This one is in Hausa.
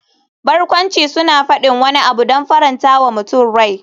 Barkwanci suna faɗin wani abu don faranta wa mutum rai.